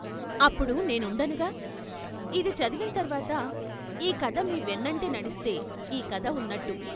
అప్పుడు నేనుండనుగా ఇది చదివిం తర్వాత, ఈ కథ మీ వెన్నంటి నడిస్తే ఈ కధ ఉన్నట్టు....